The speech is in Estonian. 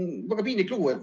Väga piinlik lugu.